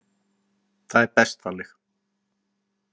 Það er best þannig.